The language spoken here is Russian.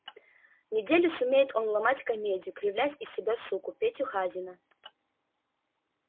неделю сумеет он ломать комедию кривлять из себя суку петю хазина